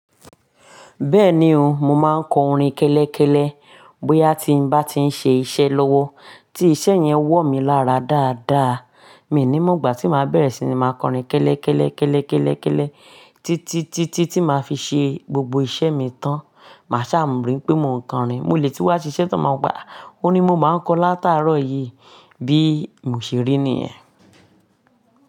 Bẹ́ẹ̀ni o, mo máa ń kọ orin kélékèlè bóyá tí n bá ti ń ṣe iṣẹ́ lọ́wọ́ tí iṣẹ́ yẹn wọ̀ mí lára dáadáa. Mi ò ní mọ̀, ìgbà tí máa bẹ̀rẹ̀ sí ní máa kọrin kélékèlè, kélékèlè, kélé, títí, títí tí màá fi ṣe gbogbo iṣẹ́ mi tán. Màá ṣà mọ̀ wipe mò ń kọrin. Mo lè tí wa ṣiṣẹ́ tán, máa wo pe a, òrin ni mo máa ń kọ látàárọ̀ yìí bí mo ṣe rí nìyẹn.